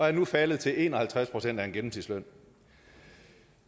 er nu faldet til en og halvtreds procent af en gennemsnitsløn